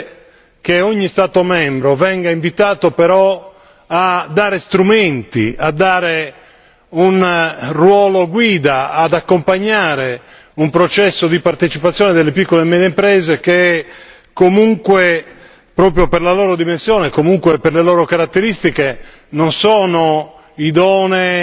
Credo sia importante che ogni Stato membro venga invitato a dare strumenti, a dare un ruolo guida, ad accompagnare un processo di partecipazione delle piccole e medie imprese che comunque, proprio per la loro dimensione, per le loro caratteristiche